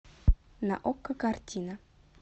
на окко картина